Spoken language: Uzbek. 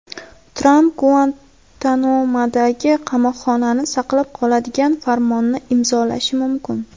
Tramp Guantanamodagi qamoqxonani saqlab qoladigan farmonni imzolashi mumkin.